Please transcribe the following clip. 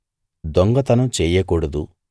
దొంగతనం చెయ్యకూడదు